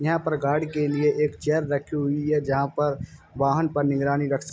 यहाँ पर गार्ड के लिए एक चेयर रखी है। जहां पर वाहन पर निगरानी रख --